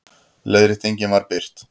Leiðréttingin var birt